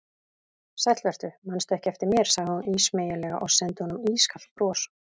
Sæll vertu, mannstu ekki eftir mér sagði hún ísmeygilega og sendi honum ískalt bros.